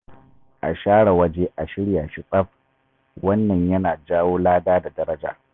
A share waje a shirya shi tsaf, wannan yana jawo lada da daraja.